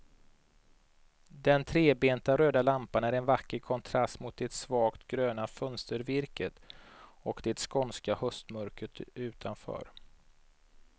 Den trebenta röda lampan är en vacker kontrast mot det svagt gröna fönstervirket och det skånska höstmörkret utanför.